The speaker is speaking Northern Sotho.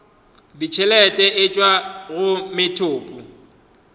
ditšhelete e tšwa go methopo